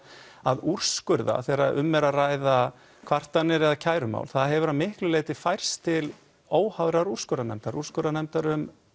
að úrskurða þegar um er að ræða kvartanir eða kærumál það hefur að miklu leyti færst til óháðrar úrskurðarnefndar úrskurðarnefndar um